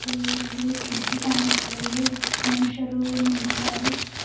ಇಲ್ಲಿ ಕಿಡಕಿ ಕಾನಸ್ತಾ ಇವೆ ಮನುಷ್ಯರು ನಿಂತಿದ್ದಾರೆ.